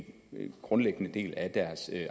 helt grundlæggende del af deres